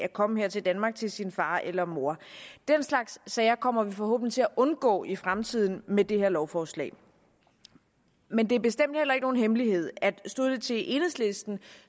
at komme her til danmark til sin far eller mor den slags sager kommer vi forhåbentlig til at undgå i fremtiden med det her lovforslag men det er bestemt ikke nogen hemmelighed at stod det til enhedslisten